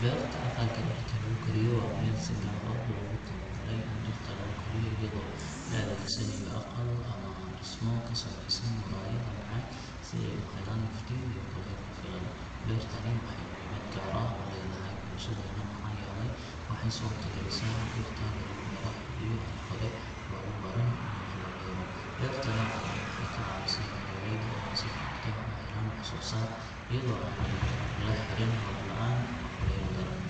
Beerta aqalka dhirta lagu koriyo waa meel si gaar ah loogu talagalay in dhirta lagu koriyo iyadoo la adeegsanayo aqal ama dhismo ka samaysan muraayad ama caag si ay u helaan iftiin iyo kulayl ku filan. Beertani waxay muhiimad gaar ah u leedahay bulshadeenna maxaa yeelay waxay suurtagelisaa in dhirta lagu beero xilliyo aan hore loogu baran in wax la beero. Beerta noocan ah waxay ka caawisaa beeraleyda in ay si joogto ah u helaan wax soo saar iyadoo aanay la xirin roob la’aan ama kulayl daran.